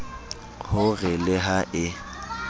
ho re le ha e